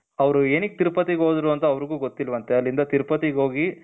ಅವರು ಏನಕ್ಕೆ ತಿರುಪತಿ ಹೋದ್ರು ಅಂತ ಅವ್ರ್ಗು ಗೊತ್ತಿಲ್ವಂತೆ ಅಲ್ಲಿಂದ ತಿರುಪತಿಗೆ ಹೋಗಿ.